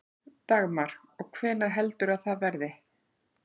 Dagmar: Og hvenær heldurðu að það verði?